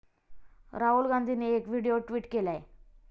राहुल गांधींनी एक video tweet केलाय.